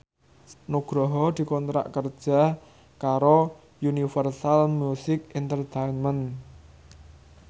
Nugroho dikontrak kerja karo Universal Music Entertainment